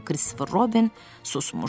amma Kristofer Robin susmuşdu.